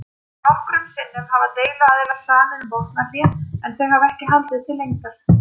Nokkrum sinnum hafa deiluaðilar samið um vopnahlé en þau hafa ekki haldið til lengdar.